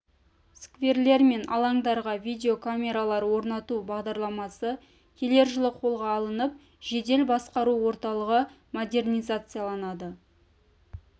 скверлер мен алаңдарға видеокамер лар орнату бағдарламасы келер жылы қолға алынып жедел басқару орталығы модернизацияланады